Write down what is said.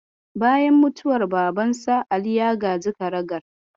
Bayan mutuwar babansa, Ali ya gaji karagar.